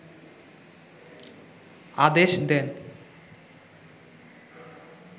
আদেশ দেন